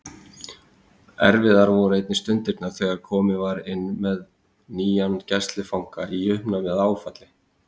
Erfiðar voru einnig stundirnar þegar komið var inn með nýjan gæslufanga í uppnámi eða áfalli.